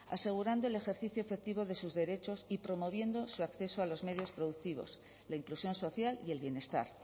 asegurando el ejercicio efectivo de sus derechos y promoviendo su acceso a los medios productivos la inclusión social y el bienestar